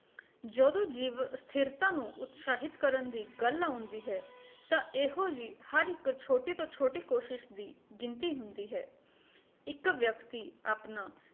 ਜਦੋ ਜੀਵ ਅਸਥਿਰਤਾ ਨੂੰ ਉਤਸ਼ਾਹਿਤ ਕਰਨ ਦੀ ਗੱਲ ਆਉਂਦੀ ਹੈ ਤਾਂ ਇਹੋ ਜੀ ਹਰ ਇੱਕ ਛੋਟੀ ਤੋਂ ਛੋਟੀ ਕੋਸ਼ਿਸ਼ ਦੀ ਗਿਣਤੀ ਹੁੰਦੀ ਹੈ ਇੱਕ ਵਿਅਕਤੀ ਆਪਣਾ